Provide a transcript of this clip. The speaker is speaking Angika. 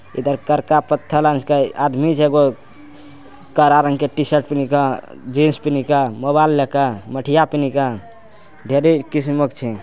इधर करका पत्थर रंग के आदमी छे एगो कारा रंग के टी-शर्ट पेहनेके जीन्स पेहनेके मोबाइल लेके मठिया पनिका ढेरी किस्मत छे।